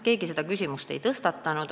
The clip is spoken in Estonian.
Keegi seda küsimust ei tõstatanud.